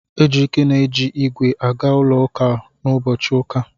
Ejike na-eji ígwè aga ụlọ ụka n'ụbọchị ụka.